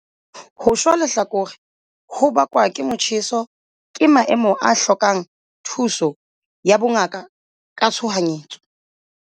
Ho shwa lehlakore ho bakwang ke motjheso ke maemo a hlokang thuso ya bongaka ka tshohanyetso.